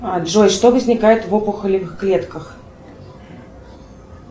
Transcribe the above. джой что возникает в опухолевых клетках